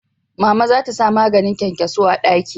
Mama za ta sa maganin kyankyaso a daki